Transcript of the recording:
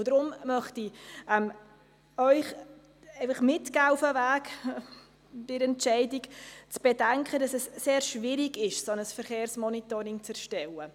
Deshalb möchte ich Ihnen Folgendes auf den Entscheidungsweg mitgeben: Bedenken Sie, dass es sehr schwierig ist, ein solches Verkehrsmonitoring zu erstellen.